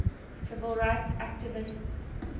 civil rights activists